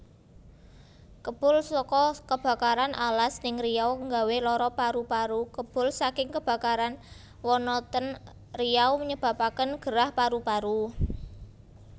Kebul soko kebakaran alas ning Riau nggawe loro paru paru Kebul saking kebakaran wana ten Riau nyebabaken gerah paru paru